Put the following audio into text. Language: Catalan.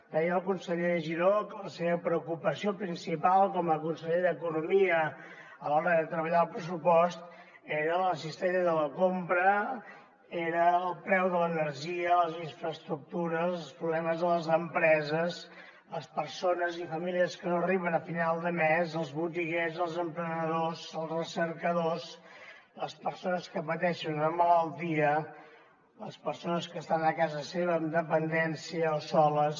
deia el conseller giró que la seva preocupació principal com a conseller d’economia a l’hora de treballar el pressupost era la cistella de la compra era el preu de l’energia les infraestructures els problemes a les empreses les persones i famílies que no arriben a final de mes els botiguers els emprenedors els recercadors les persones que pateixen una malaltia les persones que estan a casa seva amb dependència o soles